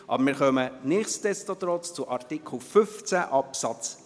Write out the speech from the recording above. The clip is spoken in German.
Aber wir kommen nichtsdestotrotz zu Artikel 15 Absatz